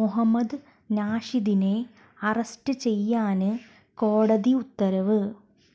മൊഹമ്മദ് നഷീദിനെ അറസ്റ്റ് ചെയ്യാന് കോടതി ഉത്തരവ്